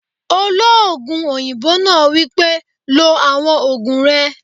Olóògùn òyìnbó náà wípé, "lo àwọn ògùn rẹ!"